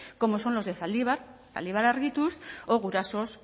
como son los de zaldibar zaldibar argituz o gurasos